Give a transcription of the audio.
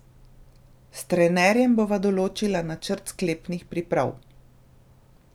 S trenerjem bova določila načrt sklepnih priprav.